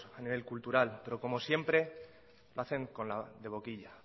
a nivel cultural pero como siempre lo hacen de boquilla